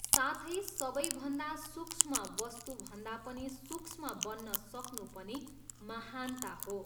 साथै सबैभन्दा सूक्ष्म वस्तुभन्दा पनि सूक्ष्म बन्न सक्नु पनि महानता हो।